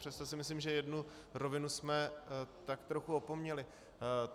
Přesto si myslím, že jednu rovinu jsme tak trochu opomněli.